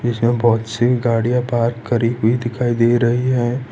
इसमें बहोत सी गाड़ियां पार्क करी हुई दिखाई दे रही है।